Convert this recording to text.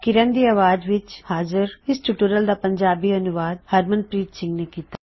ਕਿਰਨ ਦੀ ਆਵਾਜ਼ ਵਿੱਚ ਹਾਜ਼ਰ ਇਸ ਟਿਊਟੋਰਿਯਲ ਦਾ ਪੰਜਾਬੀ ਅਨੂਵਾਦ ਹਰਮਨਪ੍ਰੀਤ ਸਿੰਘ ਨੇਂ ਕੀਤਾ